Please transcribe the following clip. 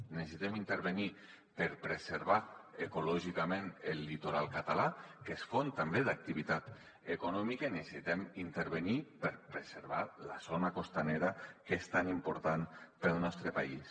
necessitem intervenir hi per preservar ecològicament el litoral català que és font també d’activitat econòmica i necessitem intervenir hi per preservar la zona costanera que és tan important per al nostre país